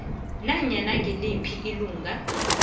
nanyana ngiliphi ilungu